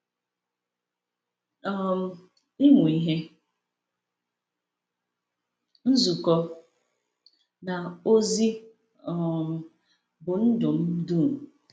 um Ịmụ ihe, nzukọ, na ozi um bụ ndụ m dum.